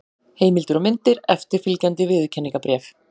Heimildir og myndir: Eftirfylgjandi viðurkenningarbréf.